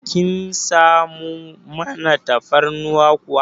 Kin samu man tafarnuwar kuwa?